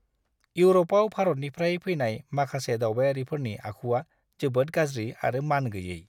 इउरपआव भारतनिफ्राय फैनाय माखासे दावबायारिफोरनि आखुआ जोबोद गाज्रि आरो मानगैयै!